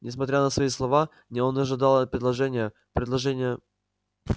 несмотря на свои слова он ожидал предложения предложения